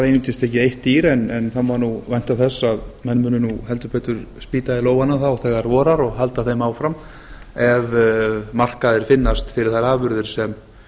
einungis tekið eitt dýr en það má vænta þess að menn munu heldur betur spýta í lófana þegar vorar og halda þeim áfram ef markaðir finnast fyrir þær afurðir sem